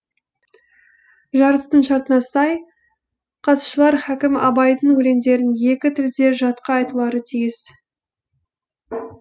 жарыстың шартына сай қатысушылар хәкім абайдың өлеңдерін екі тілде жатқа айтулары тиіс